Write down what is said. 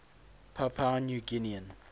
papua new guinean